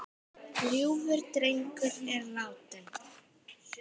Ljúfur drengur er látinn.